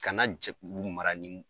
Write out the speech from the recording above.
Kana jɛkulu mara nii